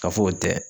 Ka fɔ o tɛ